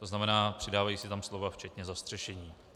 To znamená, přidávají se tam slova "včetně zastřešení".